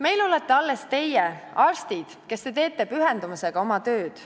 Meil olete alles teie, arstid, kes te teete pühendumusega oma tööd.